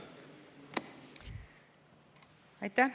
Aitäh!